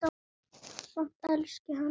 Samt elski hann hana.